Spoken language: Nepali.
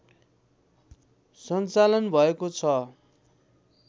सञ्चालन भएको छ